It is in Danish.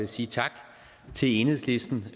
sige tak til enhedslisten